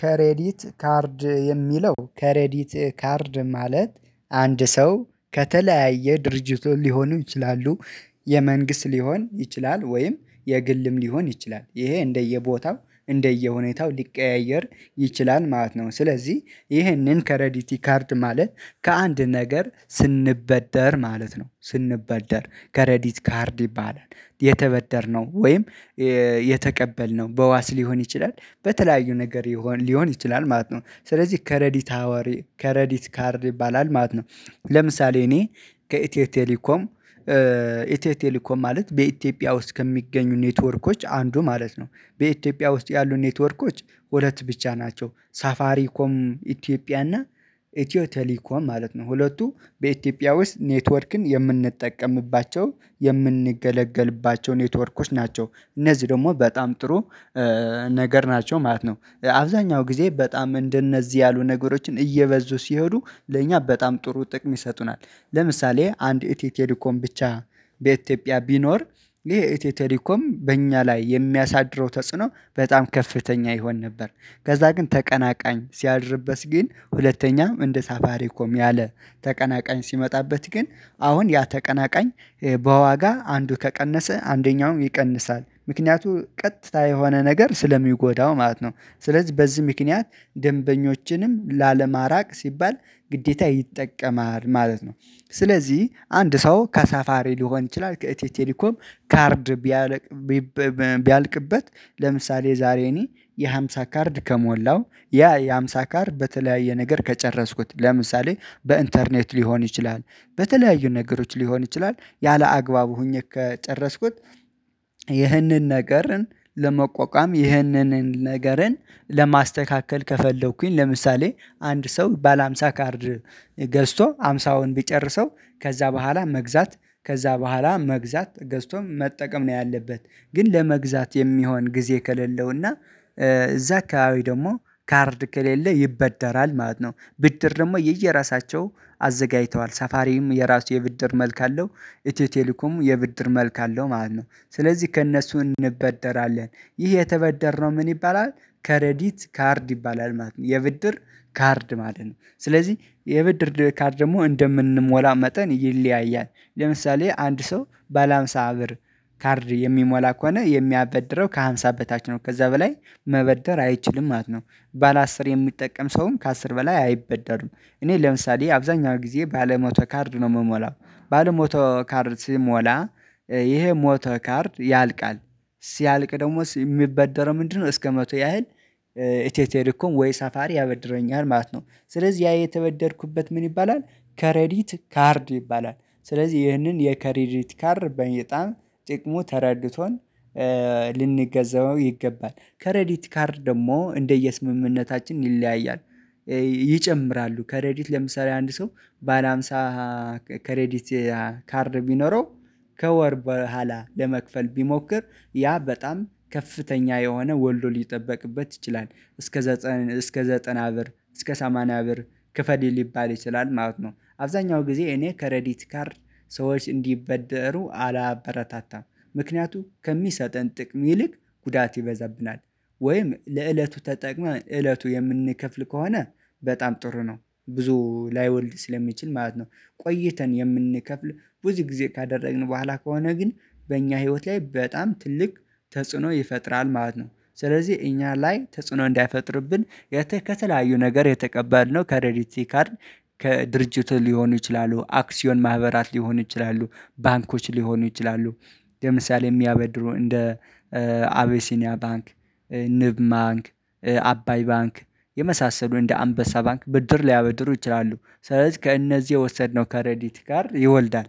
ከሬዲት ካርድ የሚለው ከሬዲት ካርድ ማለት አንድ ሰው ከተለያየ ድርጅቱ ሊሆኑ ይችላሉ። የመንግስት ሊሆን ይችላል ወይም የግልም ሊሆን ይችላል። ይሄ እንደ የቦታው እንደየ ሁኔታው ሊቀያየር ይችላል ማለት ነው። ስለዚህ ይሄንን ከሬዲቲ ካርድ ማለት ከአንድ ነገር ስንበደር ማለት ነው ስንበደር ከሬዲት ካርድ ይባላል። የተበደርነው ወይም የተቀበልነው በዋስ ሊሆን ይችላል በተለያዩ ነገር ሊሆን ይችላል ማለት ነው። ስለዚህ ከሬዲት ሀዋሪ ከሬዲት ካርድ ይባላል ማለት ነው። ለምሳሌ እኔ ከኢቲዮ ቴሊኮም ኢትዮ ቴሌኮም ማለት በኢትዮጵያ ውስጥ ከሚገኙ ኔትወርኮች አንዱ ማለት ነው። በኢትዮጵያ ውስጥ ያሉ ኔትወርኮች ሁለት ብቻ ናቸው ሳፋሪ ኮም ኢትዮጵያ እና ኢትዮ ቴሌኮም ማለት ነው። ሁለቱ በኢትዮጵያ ውስጥ ኔትወርክን የምንጠቀምባቸው የምንገለገልባቸው ኔትወርኮች ናቸው እነዚህ ደግሞ በጣም ጥሩ ነገር ናቸው ማለት ነው። አብዛኛው ጊዜ በጣም እንደነዚህ ያሉ ነገሮችን እየበዙ ሲሄዱ ለእኛ በጣም ጥሩ ጥቅም ይሰጡናል። ለምሳሌ አንድ ኤትዮ ቴሌኮም ብቻ በኢትዮጵያ ቢኖር ይሄ ኢትዮ ቴሌኮም በእኛ ላይ የሚያሳድረው ተጽዕኖ በጣም ከፍተኛ ይሆን ነበር። ከዛ ግን ተቀናቃኝ ሲያድርበት ግን ሁለተኛም እንደ ሳፋሪ ኮም ያለ ተቀናቃኝ ሲመጣበት ግን አሁን ያ ተቀናቃኝ በዋጋ አንዱ ከቀነሰ አንደኛውም ይቀንሳል ምክንያቱ ቀጥታ የሆነ ነገር ስለሚጎዳው ማለት ነው። ስለዚህ በዚህ ምክንያት ደንበኞችንም ላለማራቅ ሲባል ግዴታ ይጠቀማል ማለት ነው። ስለዚህ አንድ ሰው ከሳፋሪ ሊሆን ይችላል ከኢትዮ ቴሌኮም ካርድ ቢያልቅ ቢያልቅበት ለምሳሌ ዛሬ እኔ የሃምሳ ካርድ ከሞላው ያ የሃምሳ ካርድ በተለያየ ነገር ከጨረስኩት ለምሳሌ በኢንተርኔት ሊሆን ይችላል። በተለያዩ ነገሮች ሊሆን ይችላል ያላአግባቡ ሆኜ ከጨረስኩት ይህንን ነገርን ለመቋቋም ይህንን ነገርን ለማስተካከል ከፈለኩኝ ለምሳሌ አንድ ሰው ባለ ሃምሳ ካርድ ገዝቶ ሃምሳውን ቢጨርሰው ከዛ በኋላ መግዛት ከዛ በኋላ መግዛት ገዝቶም መጠቀም ነው ያለበት ግን ለመግዛት የሚሆን ጊዜ ከሌለው እና እዛ አካባቢ ደግሞ ካርድ ከሌለ ይበደራል ማለት ነው። ብድር ደግሞ የየራሳቸው አዘጋጅተዋል ሰፋሪም የራሱ የብድር መልክ አለው ኢትዮ ቴሌኮም የብድር መልክ አለው ማለት ነው። ስለዚህ ከእነሱ እንበደራለን ይህ የተበደርነው ምን ይባላል? ከሬዲት ካርድ ይባላል ማለት ነው። የብድር ካርድ ማለት ነው። ስለዚህ የብድር ካርድ ደግሞ እንደምንሞላ መጠን ይለያያል። ለምሳሌ አንድ ሰው ባለሃምሳ ብር ካርድ የሚሞላ ከሆነ የሚያበድረው ከሃምሳ በታች ነው ከዛ በላይ መበደር አይችልም ማለት ነው። ባለ አስር የሚጠቀም ሰውም ከአስር በላይ አይበደርም። እኔ ለምሳሌ አብዛኛው ጊዜ ባለ ሞቶ ካርድ ነው የምሞላው ባለ ሞቶ ካርድ ስሞላ ይሄ ሞቶ ካርድ ያልቃል። ሲያልቅ ደግሞ የሚበደረው ምንድነው? እስከ መቶ ያህል ኢትዮ ቴሌኮም ወይ ሰፋሪ ያበድረኛል ማለት ነው። ስለዚህ ያ የተበደርኩበት ምን ይባላል? ከሬዲት ካርድ ይባላል ስለዚህ ይህንን የከሬዲት ካርድ በጣም ጥቅሙ ተረድቶን ልንገዘበው ይገባል ከሬዲት ካርድ ደግሞ እንደየ ስምምነታችን ይለያያል። ይጨምራሉ ከሬዲት ለምሳሌ አንድ ሰው ባለ ሃምሳ ከሬዲት ካርድ ቢኖረው ከወር በኋላ ለመክፈል ቢሞክር ያ በጣም ከፍተኛ የሆነ ወልዶ ሊጠበቅበት ይችላል እስከ ዘጠን እስከ ዘጠና ብር እስከ ሰማንያ ብር ክፍል ሊባል ይችላል ማለት ነው። አብዛኛው ጊዜ እኔ ከሬዲት ካርድ ሰዎች እንዲበደሩ አላበረታታም። ምክንያቱም ከሚሰጠን ጥቅም ይልቅ ጉዳት ይበዛብናል። ወይም ለእለቱ ተጠቅመን እለቱ የምንከፍል ከሆነ በጣም ጥሩ ነው ብዙ ላይወልድ ስለሚችል ማለት ነው። ቆይተን የምንከፍል ብዙ ጊዜ ካደረግን በኋላ ከሆነ ግን በእኛ ህይወት ላይ በጣም ትልቅ ተጽዕኖ ይፈጥራል ማለት ነው። ስለዚህ እኛ ላይ ተጽዕኖ እንዳይፈጥርብን የተ ከተለያዩ ነገር የተቀበልነው ከሬዲቲ ካርድ ከድርጅቱ ሊሆኑ ይችላሉ አክሲዮን ማህበራት ሊሆኑ ይችላሉ ባንኮች ሊሆኑ ይችላሉ። ለምሳሌ የሚያበድሩ እንደ አቤሲኒያ ባንክ ንብ ማንክ አባይ ባንክ የመሳሰሉ እንደ አንበሳ ባንክ ብድር ሊያበድሩ ይችላሉ። ስለዚህ ከእነዚህ የወሰድነው ከሬዲቲ ካርድ ይወልዳል።